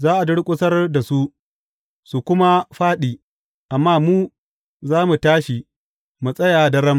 Za a durƙusar da su, su kuma fāɗi, amma mu za mu tashi mu tsaya daram.